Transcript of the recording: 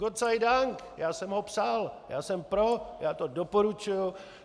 Gott sei Dank, já jsem ho psal, já jsem pro, já to doporučuji.